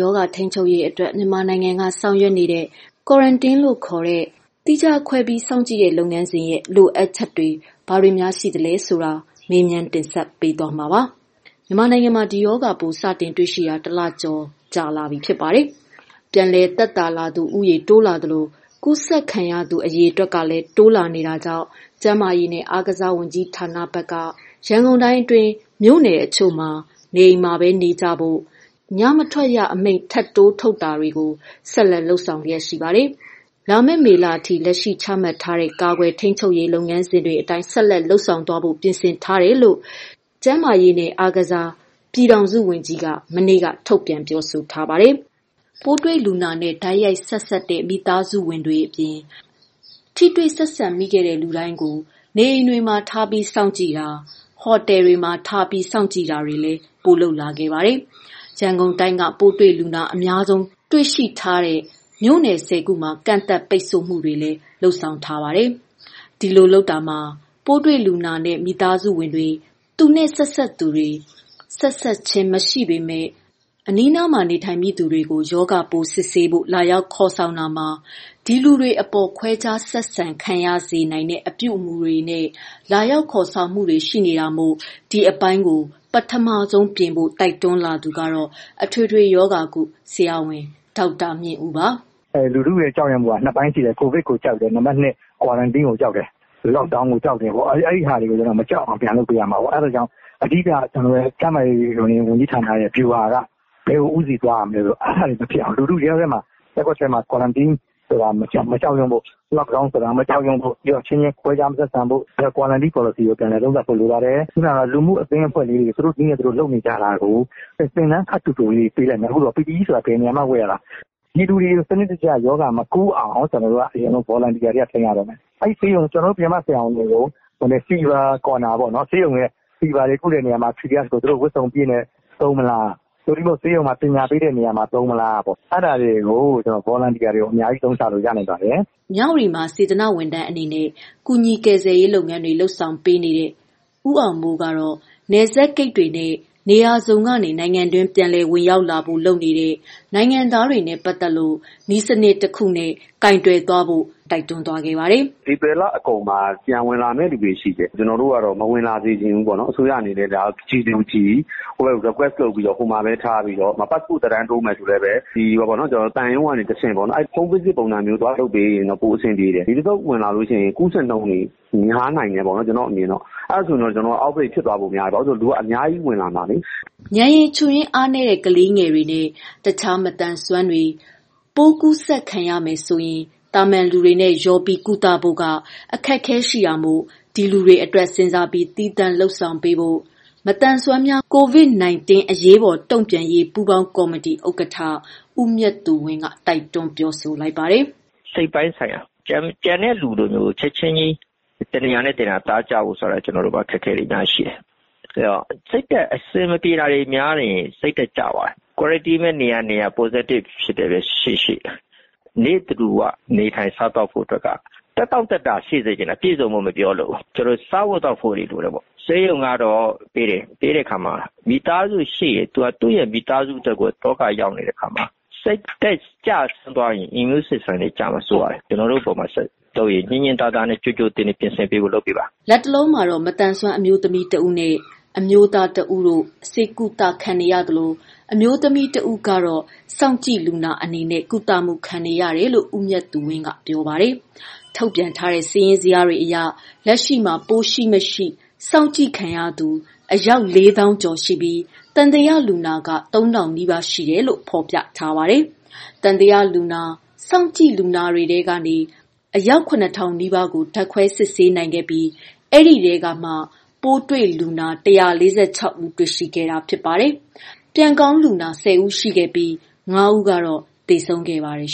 ရောဂါထိန်းချုပ်ရေးအတွက် မြန်မာနိုင်ငံကဆောင်ရွက်နေတဲ့ Quarantine ခေါ်တဲ့ သီးခြားခွဲစောင့်ကြည့်မှု လုပ်ငန်းစဉ်မှာ လိုအပ်ချက်တွေနဲ့ပတ်သက်လို့ ဗွီအိုအေ သတင်းထောက် မေခက မေးမြန်းတင်ဆက်ထားပါတယ်။ မြန်မာနိုင်ငံမှာ ဒီရောဂါပိုးစတင်တွေ့ရှိတာ တလကျော်လာပါပြီ။ ပြန်လည်သက်သာလာသူ တိုးလာသလို ကူးစက်ခံရသူ အရေအတွက်လည်းတိုးလာနေတာကြောင့် ကျန်းမာရေးနဲ့ အားကစား ဝန်ကြီးဌာနဘက်က ရန်ကုန်တိုင်းအတွင်း မြို့နယ်တချို့မှာ နေအိမ်မှာပဲနေကြဖို့ ၊ ညမထွက်ရအမိန့်ထပ်တိုးထုတ်တာတို့ကို ဆက်လက် လုပ်ဆောင်လျက်ရှိပါတယ်။ လာမယ့် မေလအထိ လက်ရှိ ချမှတ်ထားတဲ့ ကာကွယ် ထိန်းချုပ်ရေး လုပ်ငန်းစဉ်တွေ အတိုင်း ဆက်လက် လုပ်ဆောင်သွားဖို့ ပြင်ဆင်ထားတယ်လို့ ကျန်းမာရေးနှင့် အားကစားဝန်ကြီး ပြည်ထောင်စုဝန်ကြီး က မနေ့က ထုတ်ပြန်ပြောဆို ထားပါတယ်။ ပိုးတွေ့လူနာနဲ့ တိုက်ရိုက် ဆက်စပ်တဲ့ မိသားစုဝင်တွေအပြင် ထိတွေ့ဆက်ဆံမိတဲ့လူတွေကို နေအိမ်တွေမှာထားစောင့်ကြည့်တာ၊ ဟိုတယ်တွေမှာ ထားစောင့်ကြည့် တာ တွေလည်း ပိုလုပ်လာပါတယ်။ ရန်ကုန် တိုင်းက ပိုးတွေ့လူနာ အများဆုံးတွေ့ရှိထားတဲ့အတွက် မြို့နယ် ၁၀ ခုမှာ ကန့်သတ် ပိတ်ဆို့မှုတွေလည်း လုပ်ထားပါတယ်။ ဒီလိုလုပ်တာမှာ ပိုးတွေ့လူနာနဲ့ မိသားစုဝင်တွေ၊ ဆက်စပ်သူတွေ၊ ဆက်စပ်ခြင်းမရှိဘဲ အနီးနား နေထိုင်မိ သူ တွေကိုလာ ရောက် ခေါ်ဆောင်မှုတွေမှာ ဒီလူတွေ အပေါ်ခွဲခြားဆက်ဆံခံရစေတဲ့ အပြုအမှုတွေနဲ့ လာရောက် ခေါ်ဆောင်မှု တွေရှိနေတာမို့ ဒီအပိုင်းကို ပထမဆုံးပြင်ဖို့ တိုက်တွန်းလာသူက အထွေထွေရောဂါကု ဆရာဝန် ဦးမြင့်ဦးပါ။ “ လူထုကြောက်တာက ၂ ပိုင်းရှိတယ်၊ COVID ကိုကြောက်တယ်၊ Quarantine ကိုကြောက်တယ်။ Lockdown ကိုကြောက်တယ်ပေါ့။ အဲဒါတွေကို မကြောက်အောင် ပြန်လုပ်ရမှာပေါ့။ အဓိက ကျနော်တို့ ကျန်းမာရေးဌာနရဲ့ ဗျူဟာက ဘယ်ကို ဦးတည်သွားရမလဲဆိုတော့ အဲဒါတွေမဖြစ်အောင် လူထုထဲမှာ Quarantine ကို မကြောက်ဖို့ Lockdown ကိုမကြောက်ဖို့ အချင်းချင်း ခွဲခြားဆက်ဆံတာမလုပ်ဖို့၊ Quarantine ပေါ်လစီသေချာသုံးသပ်ဖို့ လိုပါတယ်။ လူမှုအသင်းအဖွဲ့လေးတွေ သူတို့နည်းနဲ့ လုပ်နေကြတာကို သင်တန်း ခပ်တိုတိုလေးတွေ ပေးလိုက်မယ်၊ PPE ဆိုတာ ဘယ်နေရာမှာ ဝတ်ရတာ၊ ပြည်သူတွေကို ရောဂါမကူးအောင် စနစ်တကျ ကျနော်တို့ Volunteer တွေက ဆင်းရတော့မယ်။ ကျနော်တို့ ပြင်ပဆရာဝန်တွေကိုfever corner တွေပေါ့နော် သူတို့ ဝတ်စုံအပြည့်နဲ့ သုံးမလား ။ သို့မဟုတ်ဆေးရုံမှာ ပညာပေးတဲ့နေရာမှာ သုံးမလား အဲဒါတွေမှာ Volunteer တွေအများကြီး အသုံးချလို့ ရနိုင်ပါတယ်။” မြဝတီမှာ စေတနာဝန်ထမ်းအနေနဲ့ ကူညီကယ်ဆယ်ရေးလုပ်ငန်းတွေ လုပ်ဆောင်ပေးနေ တဲ့ ဦးအောင်မိုးကတော့ နယ်စပ် ဂိတ်တွေနဲ့ နေရာစုံကနေ နိုင်ငံတွင်း ပြန်လည်ဝင်ရောက်လာဖို့ လုပ်နေတဲ့ နိုင်ငံသားတွေနဲ့ ပတ်သတ်လို့ နည်းစနစ်တခု နဲ့ကိုင်တွယ်ဖို့ တိုက်တွန်းသွားပါတယ်။ “ဧပြီလအကုန်မှာ ပြန်ဝင်လာမယ့်သူတွေရှိတယ်။ ကျနော်တို့ကတော့ အဲလူတွေကိုမဝင်လာစေချင်ဘူး။ အစိုးရအနေနဲ့ G to G လုပ်တာ မျိုး request လုပ်ထားပြီး ပတ်စပို့သက်တမ်းတိုးမယ်ဆိုလဲ သံရုံးကနေတဆင့်တိုးတာ၊ Home Visit ပုံမျိုးလုပ်ရင်ပို အဆင်ပြေတယ်။ ဒီတခေါက်ဝင်လာရင် ပိုးကူးခံရတာ များနိုင်တယ်။ အဲဒါဆို Out Break ဖြစ်လာမှာစိုးရိမ် တယ်။ လူကအများကြီးဝင်လာမှာလေ။” ဉာဏ်ရည် ချို့ယွင်းအားနည်းတဲ့ ကလေးငယ်တွေနဲ့ တခြားမသန်စွမ်းတွေ ပိုးကူးစက်ခံရမယ်ဆိုရင် သာမန်လူတွေနဲ့ ရောပြီး ကုသဖို့မှာ အခက်အခဲတွေရှိတာမို့ ဒီလူတွေအတွက် စဉ်းစားပြီး သီးသန့် လုပ်ဆောင်ပေးဖို့ မသန်စွမ်း များ ကိုဗစ်နိုင်တင်းအရေးပေါ်တုံ့ပြန်ရေး ပူးပေါင်းကော်မတီဥကဌ ဦးမြတ်သူဝင်းက တိုက်တွန်းလိုက်ပါတယ်။ “ စိတ်ပိုင်းဆိုင်ရာ ကျန်တဲ့လူတွေကို ချက်ချင်း တနေရာနဲ့ တနေရာ နေသားကျဖို့ဆိုတာ ကျနော်တို့မှာ အခက်အခဲတွေ အများကြီးရှိတယ်။ စိတ်ဓါတ်အဆင်မပြေတာတွေ များရင် စိတ်ဓါတ်ကျသွားတယ်။ Quarantine ပဲ နေရနေရ Positive ပဲ ရှိရှိ နေ့တဓူ၀ နေထိုင်စားသောက်ဖို့က သက်တောင့်သက်သာရှိစေချင်တယ်။ ပြည့်စုံဖို့ မပြောလိုဘူး ကျနော်တို့ စားဖို့ သောက်ဖို့တွေလိုတယ်ပေါ့။ ဆေးရုံကတော့ ပေးတယ်၊ ပေးတဲ့အခါမှာ မိသားစုရှိရင် သူ့မိသားစုအတွက်ကို အတော်လေး ဒုက္ခရောက်နေတဲ့အခါမှာ စိတ်ဓါတ်ကျသွားရင် immune system တွေကျမှာ စိုးရတယ်။ ကျနော်တို့အပေါ်မှာ ညှင်ညှင်သာသာနဲ့ ကြိုကြိုတင်တင် ပြင်ဆင်ပေးဖို့ လုပ်ပေးပါ။” လတ်တလော မသန်စွမ်းအမျိုးသမီးတစ်ဦးနှင့် အမျိုးသားတစ်ဦးတို့ ဆေးကုသခံနေရသလို အမျိုးသမီး တဦး စောင့်ကြည့်လူနာ အနေနဲ့ ကုသမှုခံနေရတယ်လို့ ဦးမြတ်သူဝင်းက ပြောပါတယ်။ ထုတ်ပြန်ထားတဲ့ စာရင်းဇယားတွေအရ လက်ရှိမှာ ပိုးရှိမရှိ စောင့်ကြည့်ခံနေသူ လေးသောင်းကျော်ရှိပြီး သံသယလူနာက ၃၀၀၀နီးပါး ရှိတယ်လို့ ဖော်ပြထားပါတယ်။ သံသယလူနာ၊ စောင့်ကြည့်လူနာတွေထဲကမှ အယောက် ၇၀၀၀ နီးပါးကို ဓာတ်ခွဲစစ်ဆေး နိုင်ခဲ့ပြီး ဒီထဲကမှ ပိုးတွေ့လူနာ ၁၄၆ဦးတွေ့ရှိခဲ့ပြီး ဖြစ်ပါတယ်။ ပြန်ကောင်းလူနာ ၁၀ဦးရှိခဲ့ပြီး ၅ဦးသေဆုံးခဲ့ပါ တယ်